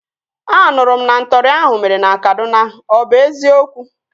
A nụrụ m na ntọri ahụ mere na Kaduna. Ọ bụ eziokwu?